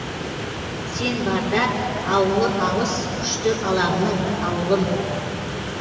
сен барда ауылы алыс күшті алаңның ауылым